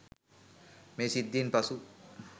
මේ සිද්ධියෙන් පසු